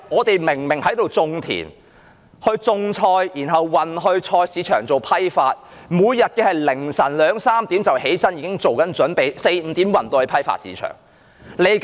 他們在那裏耕田、種菜，然後運菜到菜市場做批發，每天凌晨2時、3時便起床作準備 ，4 時、5時便運菜到批發市場。